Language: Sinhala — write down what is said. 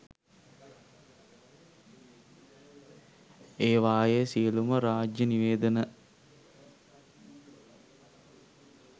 ඒවායේ සියළුම රාජ්‍ය නිවේදන